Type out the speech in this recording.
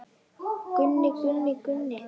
Gunni, Gunni, Gunni.